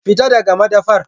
Fita daga madafar!